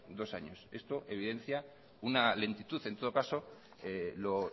dos años esto evidencia una lentitud en todo caso lo